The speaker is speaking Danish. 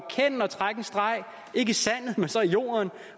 trække en streg ikke i sandet men så i jorden